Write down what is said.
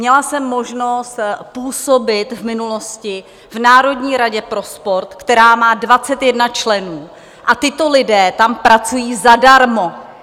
Měla jsem možnost působit v minulosti v Národní radě pro sport, která má 21 členů, a tito lidé tam pracují zadarmo.